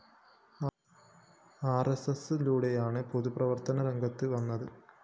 ആര്‍എസ്എസിലൂടെയാണ് പൊതു പ്രവര്‍ത്തനരംഗത്ത് വന്നത്